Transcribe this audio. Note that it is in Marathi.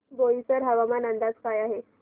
बोईसर हवामान अंदाज काय आहे